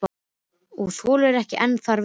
Og þolir ekki enn þar við.